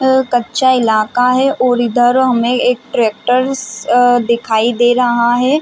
ये यहाँ कच्चा इलाका है और इधर हमे एक ट्रैक्टर्स अ दिखाई दे रहा है।